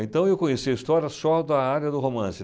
Então eu conheci a história só da área do romance.